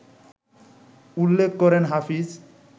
উল্লেখ করেন হাফিজ